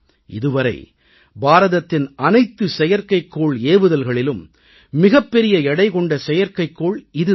இதுவரை பாரதத்தின் அனைத்து செயற்கைக்கோள் ஏவுதல்களிலும் மிகப்பெரிய எடை கொண்ட செயற்கைக்கோள் இது தான்